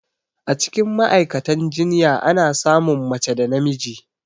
Acikin Ma'aikatan jinya Ana samun mace da namiji